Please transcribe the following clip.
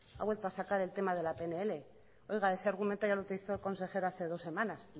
a vuelto a sacar el tema de la pnl oiga ese argumento ya lo utilizó el consejero hace dos semanas